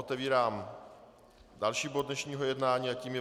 Otevírám další bod dnešního jednání a tím je